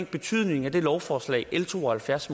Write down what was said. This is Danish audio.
betydningen af det lovforslag l to og halvfjerds